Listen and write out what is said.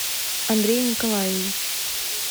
андрей николаевич